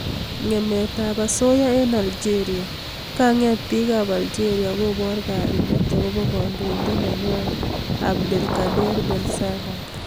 Ngemet ab asoya eng Algeria, kanget bik ab aljeria kobor kaimet akobo kandoindet nenywa Abdlekader bensalah.